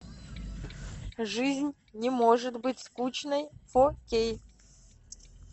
жизнь не может быть скучной фо кей